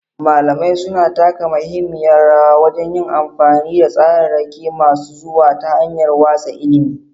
Malamai suna taka muhimmiyar rawa wajen yin amfani da tsararraki masu zuwa ta hanyar watsa ilimi.